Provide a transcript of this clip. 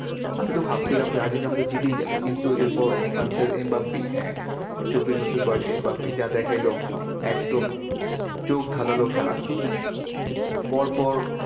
আমি তো ভাবছিলাম যে আর্জেন্টিনা হয়তো জিতেই যাবে। কিন্তু এরপর ফ্রান্স এর এম বাপ্পি হ্যাঁ, চব্বিশ বছর বয়সে এম বাপ্পি যা দেখাইলো, একদম চোখ ধাঁধানো খেলা। পর পর